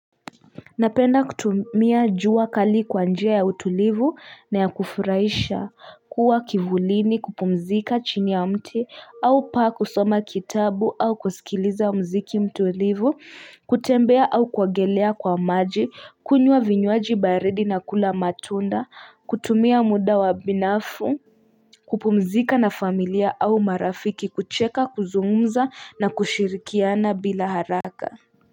Napenda kutumia jua kali kwa njia ya utulivu na ya kufurahisha kuwa kivulini kupumzika chini ya mti au pa kusoma kitabu au kusikiliza muziki mtulivu kutembea au kuogelea kwa maji kunywa vinywaji baridi na kula matunda kutumia muda wa binafsi kupumzika na familia au marafiki kucheka kuzungumza na kushirikiana bila haraka.